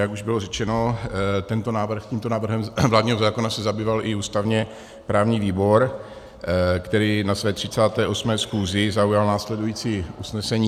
Jak už bylo řečeno, tímto návrhem vládního zákona se zabýval i ústavně-právní výbor, který na své 38. schůzi zaujal následující usnesení: